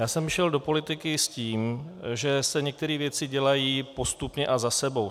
Já jsem šel do politiky s tím, že se některé věci dělají postupně a za sebou.